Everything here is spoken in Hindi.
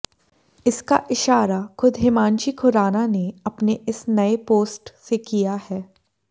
इसका इशारा खुद हिमांशी खुराना ने अपने इस नए पोस्ट से किया है